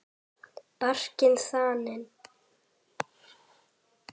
Barkinn þaninn.